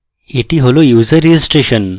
এটি হল user registration